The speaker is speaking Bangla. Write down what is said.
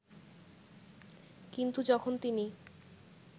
কিন্তু যখন তিনি